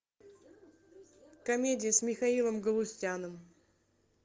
комедия с михаилом галустяном